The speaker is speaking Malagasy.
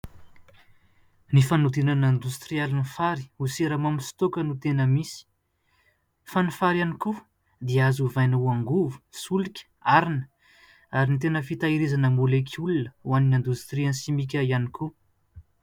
Ny fanodinana indostrialy ny fary ho siramamy sy toaka no tena misy. Fa ny fary ihany koa dia azo hovaina ho angovo, solika, harina ary ny tena fitahirizana môlekiola ho an'ny indostrian'ny simika ihany koa.